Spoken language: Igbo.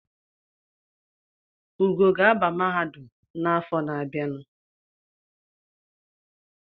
Ugo ga-aba mahadum n’afọ na-abịanụ